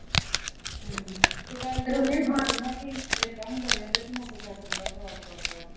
ਹਮ ਇਹਦਾ ਹੁੰਦਾ ਰਿਹਾ ਤੇ ਸੱਚੀ ਮੋਟਰ ਸਾਈਕਲ ਬੜਾ ਖ਼ਰਾਬ ਕਰਤਾ।